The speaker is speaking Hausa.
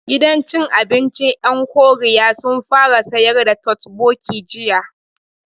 Gidan cin abincin ƴan Koriya sun fara sayar da totbokki jiya